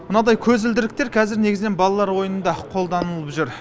мынандай көзілдіріктер қазір негізінен балалар ойынында қолданылып жүр